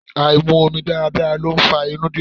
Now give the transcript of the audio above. Áì mu omi dáradára ló fa inú dídùn.